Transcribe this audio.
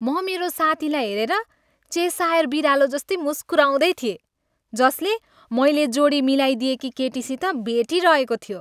म मेरो साथीलाई हेरेर चेसायर बिरालो जस्तै मुस्कुराउँदै थिए जसले मैले जोडी मिलाइदिएकी केटीसित भेटिरहेको थियो।